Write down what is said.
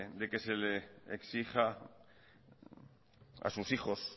de que se le exija a sus hijos